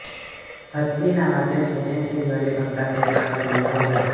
हत्ती नावाच्या छोट्यांच्या दिवाळी अंकात एक भाग लिहिला होता